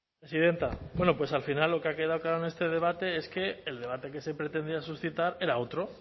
bueno al final lo que ha quedado claro en este debate es que el debate que se pretendía suscitar era otro